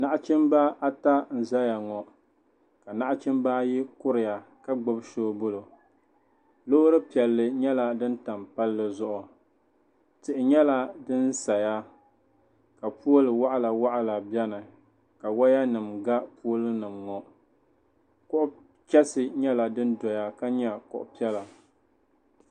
Nachimba ata n zɛya ŋɔ ka nachimba ayi kueiya ka gbubi soobuli loori piɛlli yɛla din tam palli tihi yɛla din saya ka pooli wɔɣila wɔɣila bɛni ka waya nima ga pooli nima ŋɔ kuɣa chɛsi yɛla din doya ka yɛ kuɣi piɛlla